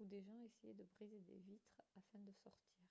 où des gens essayaient de briser des vitres afin de sortir